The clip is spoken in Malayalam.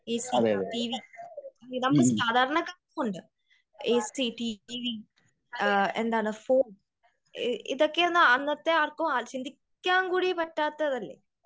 എ സി ടി വി നമ്മളെ സാധാരണക്കാർക്ക് ഉണ്ട്. എ സി ടി വി എന്താണ് ഫോൺ ഇതൊക്കെ അന്നത്തെ ആർക്കും ചിന്തിക്കാൻ കൂടി പറ്റാത്ത ഇത് അല്ലേ ?